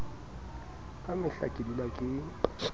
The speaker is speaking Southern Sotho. ka mehla ke dula ke